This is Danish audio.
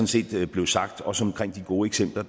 set blev sagt også det omkring de gode eksempler